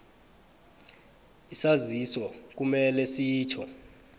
isaziso kumele sitjho